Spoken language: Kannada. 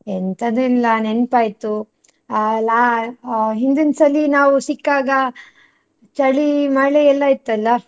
ಎಂತದು ಇಲ್ಲ ನೆನ್ಪಾಯ್ತು, ಆ ಲಾ~ ಹಾ ಹಿಂದಿನ ಸಲಿ ನಾವು ಸಿಕ್ಕಾಗ ಚಳಿ ಮಳೆ ಎಲ್ಲ ಇತ್ತಲ್ಲ?